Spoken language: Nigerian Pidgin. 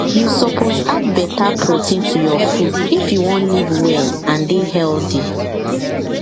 you suppose add better protein to your food if you wan live well and dey healthy